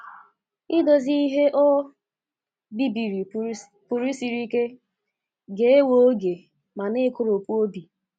Idozi ihe o bibiri pụrụ siri ike, ga-ewe oge, ma na-ekoropụ obi.